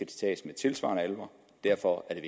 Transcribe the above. tages med tilsvarende alvor derfor er